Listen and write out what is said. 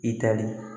I tali